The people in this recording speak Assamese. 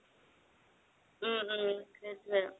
উম উম সেইটোয়ে